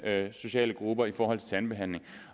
sociale grupper i forhold til tandbehandling